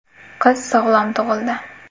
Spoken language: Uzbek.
Qiz sog‘lom tug‘ildi.